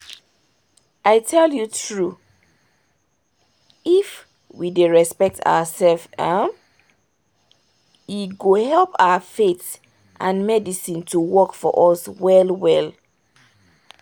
i tell you true! if we dey respect ourselves uhm! e go help our faith and medicine to work for us well well